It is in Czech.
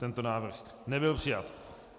Tento návrh nebyl přijat.